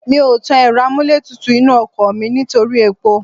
Mi ò tàn ẹ̀rọ amúlétutù inú ọkọ̀ mi nítorí epo